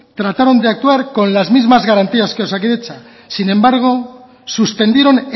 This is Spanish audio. trataron de actuar con las mismas garantías que osakidetza sin embargo suspendieron